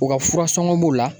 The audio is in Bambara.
U ka furasɔngɔ b'o la.